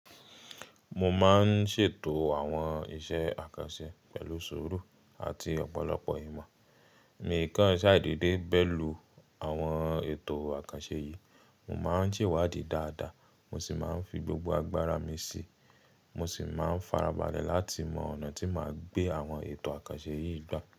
Mo máa ń ṣètò àwọn iṣẹ́ àkànṣe pẹ̀lú sùúrù àti ọ̀pọ̀lọpọ̀ ìmọ̀. Mí ìkánṣá sadede bẹ̀lú àwọn ètò àkànṣe yìí, mo máa ń se ìwádìí dáadáa, mo sì máa ń fi gbogbo agbára mi sí i. Mo sì máa ń farabalẹ̀ láti mọ ọ̀nà tí màá gbé àwọn ètò àkànṣe yìí gbà.